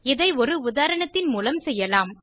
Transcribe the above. இதை ஒரு உதாரணத்தின் மூலம் செய்யலாம்